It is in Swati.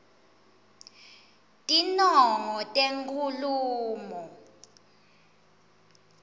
tinongo tenkhulumo